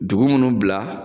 Dugu munnu bila